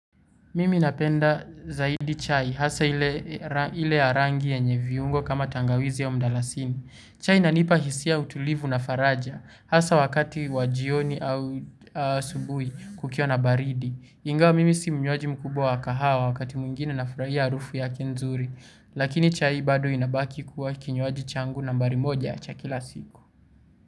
Mimi napenda zaidi chai hasa ile ya rangi yenye viungo kama tangawizi aumdalasini. Chai inanipa hisia ya utulivu na faraja hasa wakati wa jioni au asubuhi kukiwa na baridi. Ingawa mimi si mnywaji mkubwa wa wakati mwingine nafurahia harufu yake nzuri. Lakini chai bado inabaki kuwa kinywaji changu nambari moja cha kila siku.